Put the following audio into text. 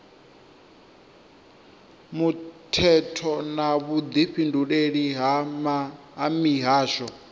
muthetho na vhudifhinduleli ha mihasho